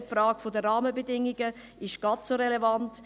Die Frage der Rahmenbedingungen ist gleichermassen relevant.